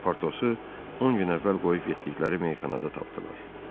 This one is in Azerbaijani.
Portosu 10 gün əvvəl qoyub getdikləri meyxanada tapdılar.